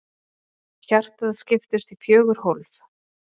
Hjartað skiptist í fjögur hólf.